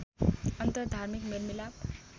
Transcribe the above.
अन्तर धार्मिक मेलमिलाप